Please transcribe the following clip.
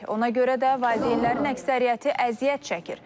Ona görə də valideynlərin əksəriyyəti əziyyət çəkir.